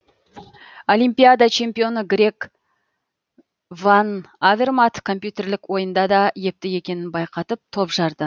олимпиада чемпионы грег ван авермат компьютерлік ойында да епті екенін байқатып топ жарды